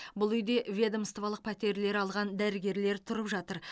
бұл үйде ведомстволық пәтерлер алған дәрігерлер тұрып жатыр